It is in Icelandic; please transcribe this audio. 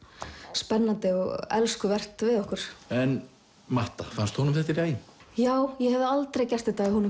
spennandi og elskuvert við okkur en matta fannst honum þetta í lagi já ég hefði aldrei gert þetta ef honum